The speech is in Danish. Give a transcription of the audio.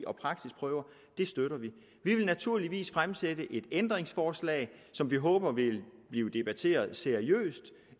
og praksisprøver støtter vi vi vil naturligvis stille et ændringsforslag som vi håber vil blive debatteret seriøst